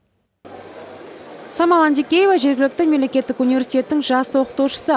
самал антикеева жергілікті мемлекеттік университеттің жас оқытушысы